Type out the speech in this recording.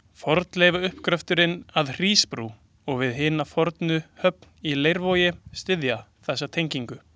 Fornleifauppgröfturinn að Hrísbrú og við hina fornu höfn í Leiruvogi styðja þessa tengingu.